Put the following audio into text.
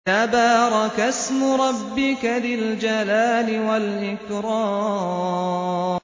تَبَارَكَ اسْمُ رَبِّكَ ذِي الْجَلَالِ وَالْإِكْرَامِ